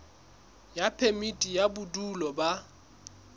ya phemiti ya bodulo ba